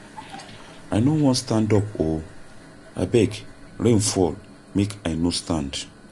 I no wan stand up oo, abeg rain fall make I no stand.